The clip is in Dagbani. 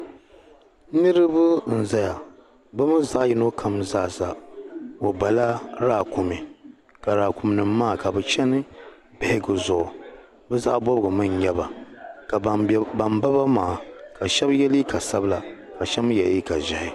Niriba n zaya bɛ mii zaɣ'yino kam zaa sa o bala laakumi ka laakum nim maa ka bɛ chɛni bihigu zuɣu bɛ zaɣ'bɔbigu mii n nyɛ ba ka ban bɛ ban ba maa ka shɛbi ye liiga sabila ka shɛbi mii ye liiga zeeihi